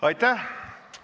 Aitäh!